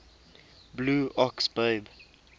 blue ox babe